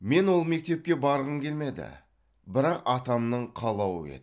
мен ол мектепке барғым келмеді бірақ атамның қалауы еді